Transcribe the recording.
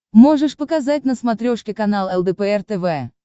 можешь показать на смотрешке канал лдпр тв